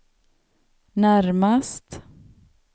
närmast